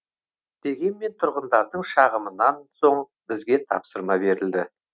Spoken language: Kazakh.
дегенмен тұрғындардың шағымынан соң бізге тапсырма берілді